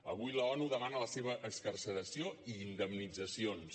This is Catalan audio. avui l’onu demana la seva excarceració i indemnitzacions